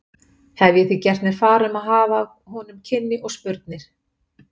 Hef ég því gert mér far um að hafa af honum kynni og spurnir.